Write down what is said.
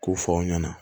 K'u fɔ aw ɲɛna